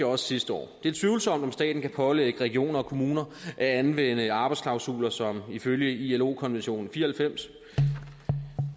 også sidste år det er tvivlsomt om staten kan pålægge regioner og kommuner at anvende arbejdsklausuler som ifølge ilo konventionen fire